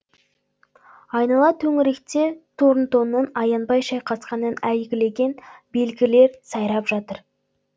айнала төңіректе торнтонның аянбай шайқасқанын әйгілеген белгілер сайрап жатыр